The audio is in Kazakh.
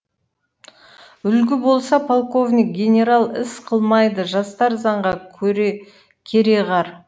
үлгі болса полковник генерал іс қылмайды жастар заңға кереғар